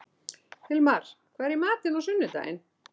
Hilmar, hvað er í matinn á sunnudaginn?